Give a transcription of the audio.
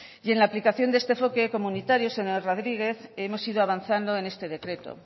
y en la aplicación de este enfoque comunitario señor rodríguez hemos ido avanzando en este decreto